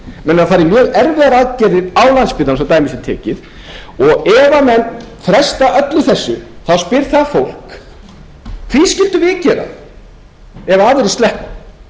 menn eiga að fara í mjög erfiðar aðgerðir á landspítalanum svo dæmi sé tekið og ef menn fresta öllu þessu þá spyr það fólk því skyldum við gera það ef aðrir sleppa